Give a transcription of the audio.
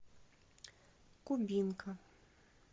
кубинка